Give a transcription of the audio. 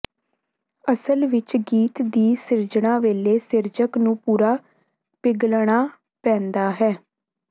ਅਸਲ ਵਿੱਚ ਗੀਤ ਦੀ ਸਿਰਜਣਾ ਵੇਲੇ ਸਿਰਜਕ ਨੂੰ ਪੂਰਾ ਪਿਘਲਣਾ ਪੈਂਦਾ ਹੈ